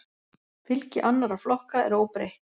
Fylgi annarra flokka er óbreytt